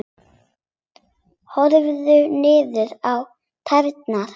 Horfði niður á tærnar.